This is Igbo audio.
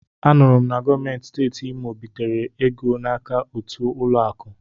A nụrụ m na gọọmenti Steeti Imo bitere ego n'aka otu ụlọ akụ.